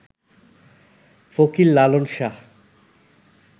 Fakir Lalon Shah